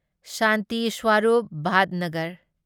Shanti Swarup Bhatnagar